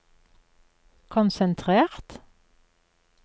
konsentrert